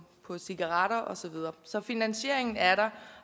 cigaretter og så videre så finansieringen er der